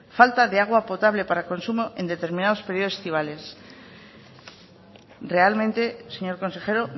falta de agua potable para consumo en determinados periodos estivales realmente señor consejero